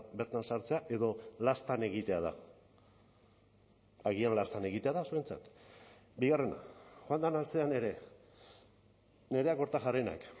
bertan sartzea edo laztan egitea da agian laztan egitea da zuentzat bigarrena joan den astean ere nerea kortajarenak